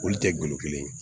Olu tɛ golo kelen ye